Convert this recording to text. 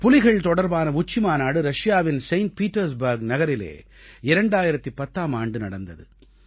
புலிகள் தொடர்பான உச்சிமாநாடு ரஷியாவின் செயிண்ட் பீட்டர்ஸ்பர்க் நகரிலே 2010ஆம் ஆண்டு நடந்தது